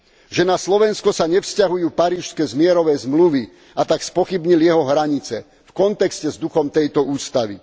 Že na Slovensko sa nevzťahujú parížske mierové zmluvy, a tak spochybnil jeho hranice v kontexte s duchom tejto ústavy.